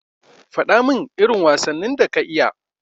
Fadamin irin wasannin da ka iya.